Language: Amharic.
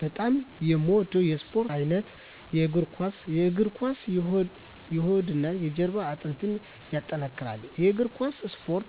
በጣም የምወደው የስፓርት አይነት የእግር ኳስ። የእግር ኳስ የሆድና የጀርባ አጥንትን ያጠነክራል። የእግር ኳስ እስፖርት